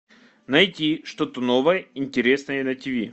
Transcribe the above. найти что то новое интересное на тв